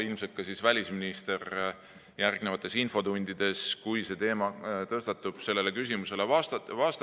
Ilmselt saab ka välisminister järgnevates infotundides, kui see teema tõstatub, sellele küsimusele vastata.